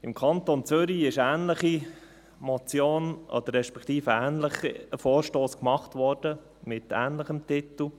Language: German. Im Kanton Zürich wurde ein ähnlicher Vorstoss eingereicht, mit ähnlichem Titel.